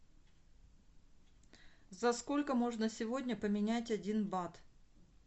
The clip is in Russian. за сколько можно сегодня поменять один бат